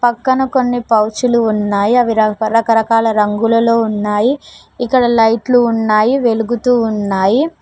పక్కన కొన్ని పౌచులు ఉన్నాయి అవిరాకు పలక రకాల రంగులలో ఉన్నాయి ఇక్కడ లైట్లు ఉన్నాయి వెలుగుతూ ఉన్నాయి.